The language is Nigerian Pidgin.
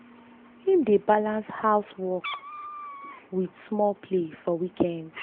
him dey balans house work house work with small play for weekends.